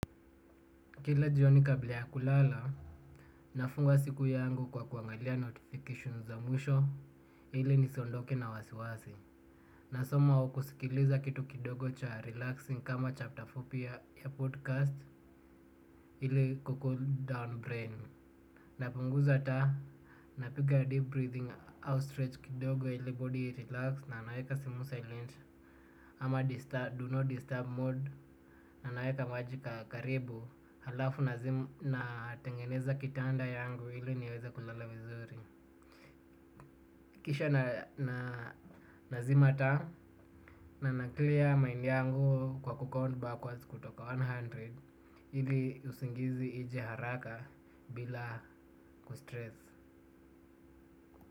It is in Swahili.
Kila jioni kabla ya kulala nafunga siku yangu kwa kuangalia notification za mwisho ili nisiondoke na wasiwasi. Na soma wakusikiliza kitu kidogo cha relaxing kama chapter fupi ya podcast ile iko huko down brain. Napunguza taa, napiga deep breathing, outstretch kidogo ili body relax na naweka simu silent. Ama do not disturb mode na naweka maji ka, karibu halafu nazima na tengeneza kitanda yangu ili niweza kulala vizuri kisha na, na nazima taa na na clear mind yangu kwa call back backwards kutoka one hundred ili usingizi ije haraka bila kustress.